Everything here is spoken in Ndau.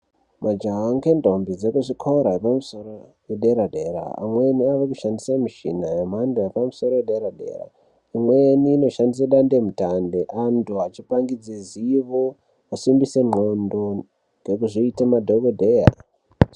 Majaha nendombi dzekuzvikora zvedera dera amweni vakushandisa mishina yemhando yepamusoro yedera dera imweni inoshandiswa hutano antu achipangidza zivo kusimbisa ngonxo nekuzviita madhokodheya.